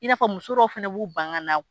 I n'a fɔ muso dɔw fana b'u ban ka na.